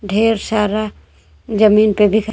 ढेर सारा ज़मीन पे बिखरा--